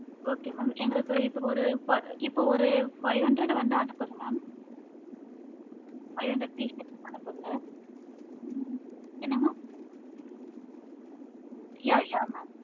okay mam எங்களுக்கு இப்ப ஒரு இப்ப ஒரு five hundred வந்து அனுப்புங்க mam ah okay mam five hundred எப்படி அனுப்புங்க mam அனுப்புங்க mam five hundred pieces அனுப்புங்க mam yeah yeah